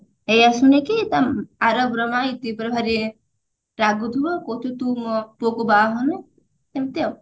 ଏଇଆ ଶୁଣିକି ତା ଆରବର ମା ଇତି ଉପରେ ଭାରି ରାଗୁଥିବ କହୁଥିବ ତୁ ମୋ ପୁଅକୁ ବାହା ହଅନା ଏମତି ଆଉ